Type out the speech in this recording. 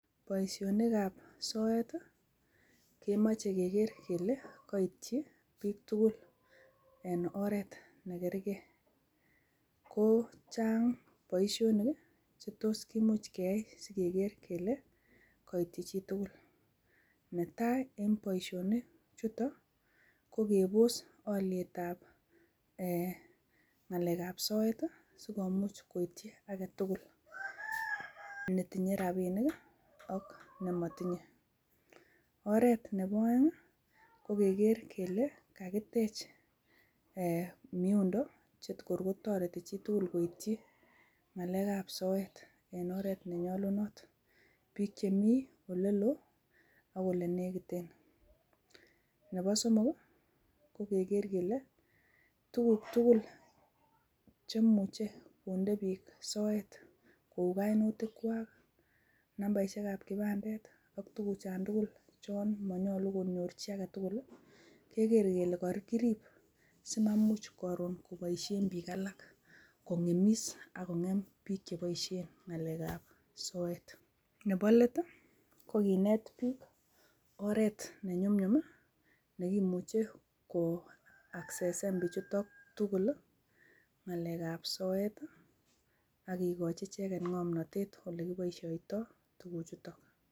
Boisionik ab soet komoche keker kole koityi, piik tugul en oret NE kerkee. Ko chang' boisionik, chetos kimuch keyai . Kele koityi chitugul. Netai en boisionik chuto, ko kebos olyet an ng'alek ab soet, sikomuch koityi agetugul netinye rapinik, ak nemotinye. Oret nebo oeng' ko keker kele kakitech miondo che kor kotoreti chitugul. Koityi ng'alek ab soet en oret nenyolunot. Piik chemi olelo, ak olenegiten. Nebo somok, ko keger kele, tuguk tugul chemuche konde piik soet. Kou koinutikwak, nambisiek ab kibandet, ak tuguk chan tugul chan monyolu konyor chii agetugul, keker kele kokirip simamuch koron koboisien piik alak. Kongemis akongem piik cheiboisien ng'alek ab soet. Nebo let kokinet biik oret nenyumnyum nekimuche koasesen pichuton tugul ng'alek ab soet akikochi cheget ng'omnotet olekiboisioitoi, tuguchutok.